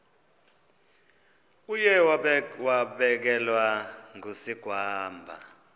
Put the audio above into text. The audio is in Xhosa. uye wabelekwa ngusigwamba